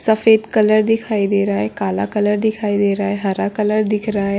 सफेद कलर देखा दिखाई दे रहा है काला कलर दिखाई दे रहा है हरा कलर दिख रहा है।